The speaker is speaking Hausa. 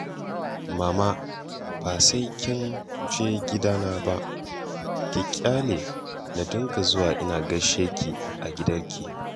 Mama ba sai kin je gidana ba, ki ƙyale na dinga zuwa ina gaishe ki a gidanki